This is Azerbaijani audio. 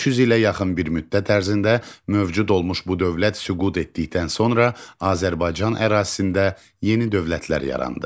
300 ilə yaxın bir müddət ərzində mövcud olmuş bu dövlət süqut etdikdən sonra Azərbaycan ərazisində yeni dövlətlər yarandı.